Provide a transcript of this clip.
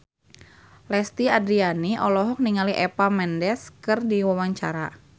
Lesti Andryani olohok ningali Eva Mendes keur diwawancara